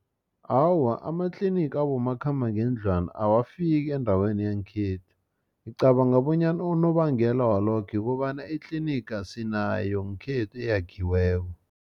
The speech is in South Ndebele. Awa, amatliniga abomakhambangendlwana awafiki endaweni yangekhethu ngicabanga bonyana unobangela walokho ukobana itliniga sinayo ngekhethu eyakhiweko.